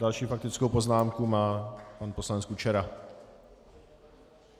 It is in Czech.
Další faktickou poznámku má pan poslanec Kučera.